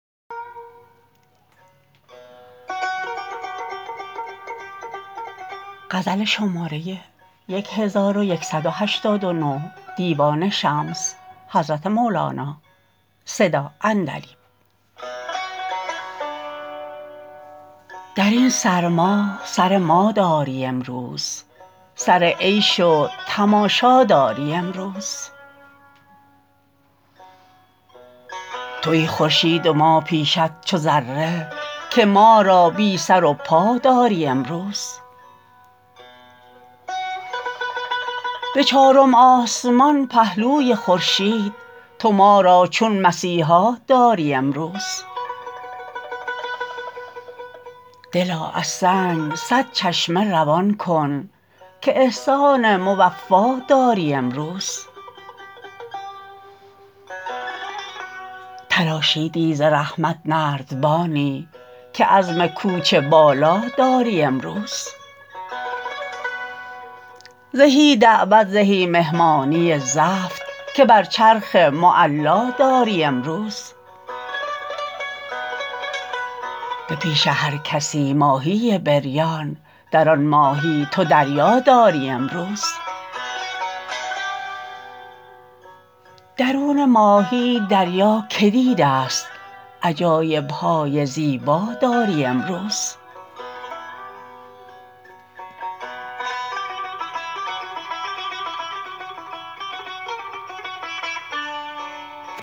در این سرما سر ما داری امروز سر عیش و تماشا داری امروز توی خورشید و ما پیشت چو ذره که ما را بی سر و پا داری امروز به چارم آسمان پهلوی خورشید تو ما را چون مسیحا داری امروز دلا از سنگ صد چشمه روان کن که احسان موفا داری امروز تراشیدی ز رحمت نردبانی که عزم کوچ بالا داری امروز زهی دعوت زهی مهمانی زفت که بر چرخ معلا داری امروز به پیش هر کسی ماهی بریان در آن ماهی تو دریا داری امروز درون ماهی دریا کی دیدست عجایب های زیبا داری امروز